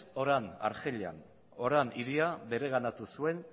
oran argelian oran hirira bereganatu zuen